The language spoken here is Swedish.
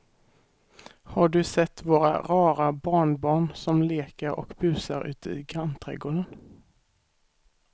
Har du sett våra rara barnbarn som leker och busar ute i grannträdgården!